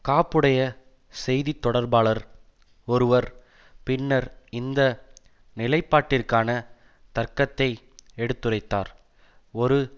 காப்புடைய செய்தி தொடர்பாளர் ஒருவர் பின்னர் இந்த நிலைப்பாட்டிற்கான தர்க்கத்தை எடுத்துரைத்தார் ஒரு